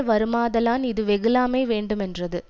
வருமாதலான் இது வெகுளாமை வேண்டுமென்றது